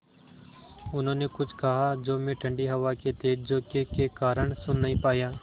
उन्होंने कुछ कहा जो मैं ठण्डी हवा के तेज़ झोंके के कारण सुन नहीं पाया